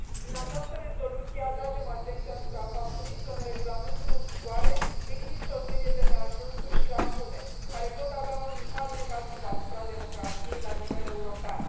Prin această rezoluție, atragem atenția asupra faptului că în regulamentul în vigoare există o serie de neajunsuri și lacune care pot avea un impact negativ asupra democrației la nivel european.